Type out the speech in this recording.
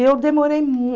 eu demorei